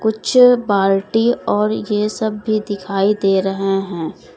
कुछ बाल्टी और ये सब भी दिखाई दे रहे हैं।